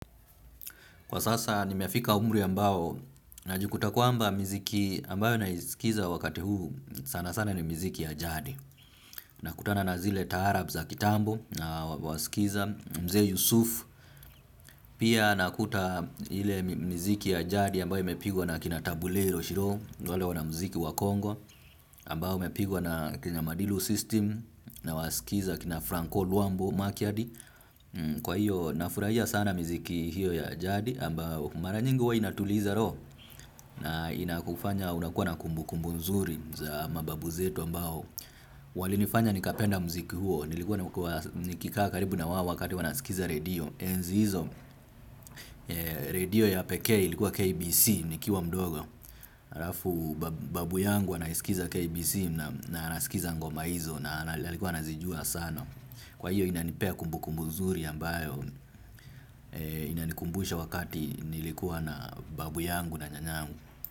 Kwa sasa nimefika umri ambao, najikuta kwamba miziki ambayo naisikiza wakati huu sana sana ni miziki ya jadi. Nakutana na zile taarab za kitambo na wasikiza mzee Yusuf. Pia nakuta ile mziki ya jadi ambayo imepigwa na kina tabuleiro shiroo, ni wale wanamziki wa congo. Ambayo imepigwa na kina madilu system nawasikiza kina franco luambo makiadi. Kwa hiyo nafurahia sana miziki hiyo ya jadi ambao mara nyingi huwa inatuliza roho. Na inakufanya unakuwa na kumbukumbu nzuri za mababu zetu ambao walinifanya nikapenda mziki huo nilikuwa na nikikaa karibu na wao wakati wanasikiza redio enzi hizo redio ya pekee ilikuwa KBC nikiwa mdogo. Alafu babu yangu anayesikiza KBC na anasikiza ngoma hizo. Na alikuwa anazijua sana. Kwa hiyo inanipea kumbukumbu zuri ambayo inanikumbusha wakati nilikuwa na babu yangu na nyanyangu.